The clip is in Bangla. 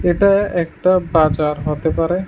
এটা একটা বাজার হতে পারে।